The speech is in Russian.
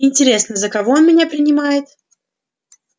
интересно за кого он меня принимает